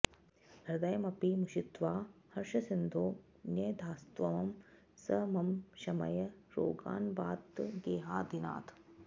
हृदयमपि मुषित्वा हर्षसिन्धौ न्यधास्त्वं स मम शमय रोगान्वातगेहाधिनाथ